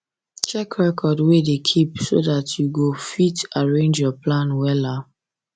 check record wey you da keep so dat you dat you go fit arrange your plan wella